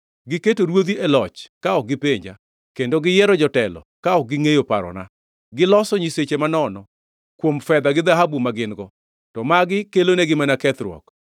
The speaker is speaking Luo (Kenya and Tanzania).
Giketo ruodhi e loch ka ok gipenja; kendo giyiero jotelo ka ok gingʼeyo parona. Giloso nyiseche manono kuom fedha gi dhahabu ma gin-go, to magi kelonegi mana kethruok.